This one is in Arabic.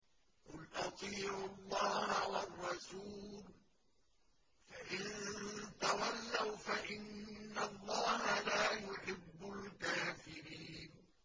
قُلْ أَطِيعُوا اللَّهَ وَالرَّسُولَ ۖ فَإِن تَوَلَّوْا فَإِنَّ اللَّهَ لَا يُحِبُّ الْكَافِرِينَ